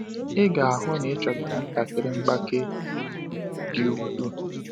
Ị ga-ahụ na ịchọtara ntakịrị mgbake dị ukwuu.